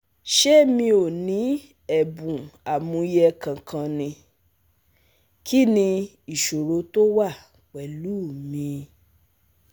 se mi o ni ebun amuye kankan ni? ki ni isoro to wa pelu mi?